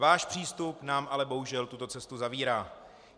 Váš přístup nám ale bohužel tuto cestu zavírá.